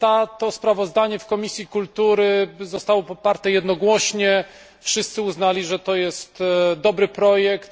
To sprawozdanie w Komisji Kultury zostało poparte jednogłośnie, wszyscy uznali, że to jest dobry projekt.